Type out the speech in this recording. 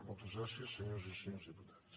moltes gràcies senyores i senyors diputats